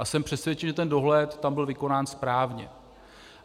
A jsem přesvědčen, že ten dohled tam byl vykonán správně.